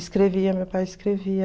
Escrevia, meu pai escrevia.